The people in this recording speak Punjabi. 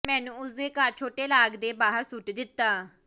ਮੈਨੂੰ ਉਸ ਦੇ ਘਰ ਛੋਟੇ ਲਾਗ ਦੇ ਬਾਹਰ ਸੁੱਟ ਦਿੱਤਾ